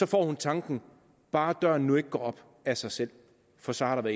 får hun tanken bare døren nu ikke går op af sig selv for så har der